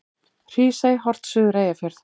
Hrísey, horft suður Eyjafjörð.